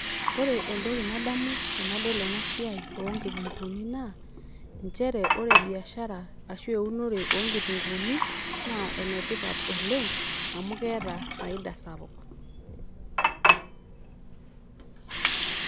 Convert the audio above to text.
Ore entoki nadamu tenadol ena siai oonkitunguni naa nchere ore biashara ashu eunore oonkitunguni naa ene tipat oleng amu keeta faida sapuk.